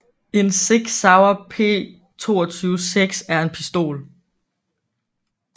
En SIG Sauer P226 er en pistol